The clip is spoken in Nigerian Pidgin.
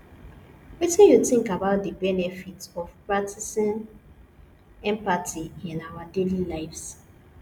wetin you think about di benefits of practicing empathy in our daily lives